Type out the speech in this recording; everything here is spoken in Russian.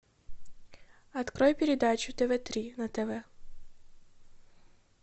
открой передачу тв три на тв